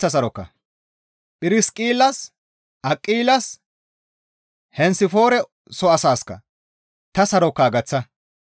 Phirsiqillas, Aqilas, Henesifoore soo asaasikka ta sarokaa gaththa.